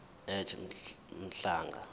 ej mhlanga jj